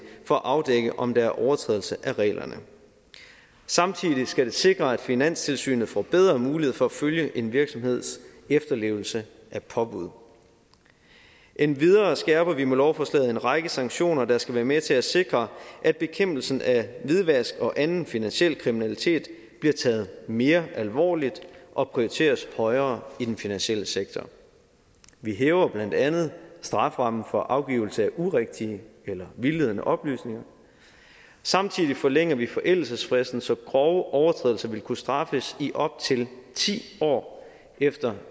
for at afdække om der overtrædelse af reglerne samtidig skal det sikre at finanstilsynet får bedre mulighed for at følge en virksomheds efterlevelse af påbud endvidere skærper vi med lovforslaget en række sanktioner der skal være med til at sikre at bekæmpelsen af hvidvask og anden finansiel kriminalitet bliver taget mere alvorligt og prioriteres højere i den finansielle sektor vi hæver blandt andet strafferammen for afgivelse af urigtige eller vildledende oplysninger samtidig forlænger vi forældelsesfristen så grove overtrædelser vil kunne straffes i op til ti år efter